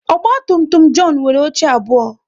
Ogba tum tum John nwere oche abụọ